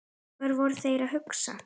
Hvað voru þeir að hugsa?